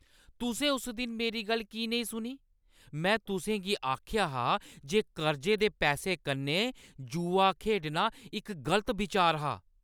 तुसें उस दिन मेरी गल्ल की नेईं सुनी? में तुसें गी आखेआ हा जे कर्जे दे पैसें कन्नै जुआ खेढना इक गलत बिचार हा।